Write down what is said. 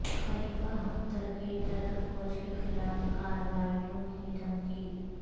خلیفہ ہفترکی ترک فوج کے خلاف کارروائیوں کی دھمکی